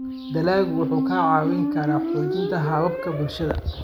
Dalaggu wuxuu kaa caawin karaa xoojinta hababka bulshada.